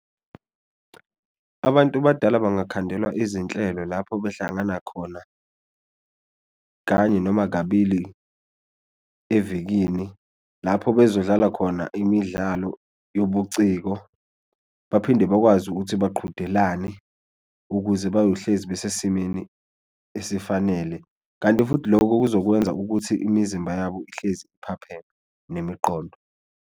Abantu badala bangakhandelwa izinhlelo lapho behlangana khona kanye noma kabili evikini lapho bezodlala khona imidlalo yobuciko baphinde bakwazi ukuthi, baqhudelane ukuze bayohlezi besesimeni esifanele. Kanti futhi lokho kuzokwenza ukuthi imizimba yabo ihlezi iphaphame nemiqondo.